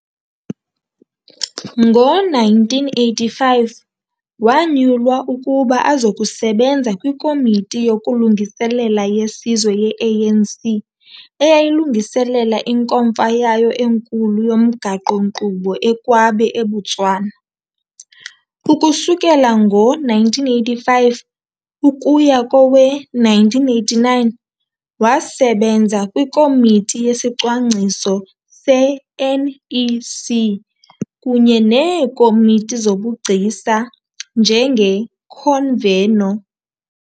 Ngo-1985, wanyulwa ukuba azokusebenza kwiKomiti yokuLungiselela yeSizwe ye-ANC, eyayilungiselela inkomfa yayo enkulu yomgaqo-nkqubo e-Kwabe, eBotswana. Ukusukela ngo-1985 ukuya kowe-1989 wasebenza kwiKomiti yesiCwangciso se-NEC kunye neeKomiti zobuGcisa njengeConveno.